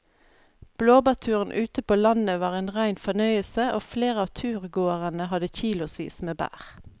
Blåbærturen ute på landet var en rein fornøyelse og flere av turgåerene hadde kilosvis med bær.